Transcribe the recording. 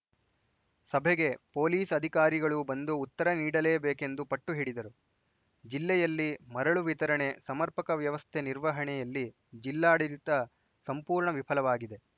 ಸಭೆಗೆ ಪೊಲೀಸ್‌ ಅಧಿಕಾರಿಗಳು ಬಂದು ಉತ್ತರ ನೀಡಲೇಬೇಕೆಂದು ಪಟ್ಟು ಹಿಡಿದರು ಜಿಲ್ಲೆಯಲ್ಲಿ ಮರಳು ವಿತರಣೆ ಸಮರ್ಪಕ ವ್ಯವಸ್ಥೆ ನಿರ್ವಹಣೆಯಲ್ಲಿ ಜಿಲ್ಲಾಡಳಿತ ಸಂಪೂರ್ಣ ವಿಫಲವಾಗಿದೆ